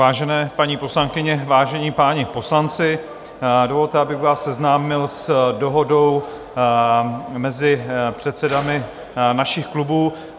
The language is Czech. Vážené paní poslankyně, vážení páni poslanci, dovolte, abych vás seznámil s dohodou mezi předsedy našich klubů.